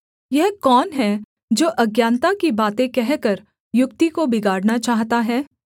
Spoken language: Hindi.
यह कौन है जो अज्ञानता की बातें कहकर युक्ति को बिगाड़ना चाहता है